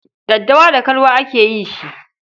Daddawa da kalwa ake yi shi.